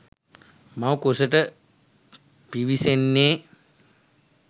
මව් කුසට පිවිසෙන්නේ